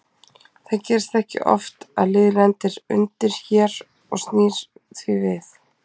Það gerist ekki oft að lið lendir undir hér og snýr því við.